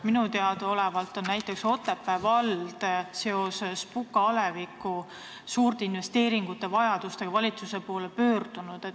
Minu teada on näiteks Otepää vald seoses Puka aleviku suurte investeeringute vajadustega valitsuse poole pöördunud.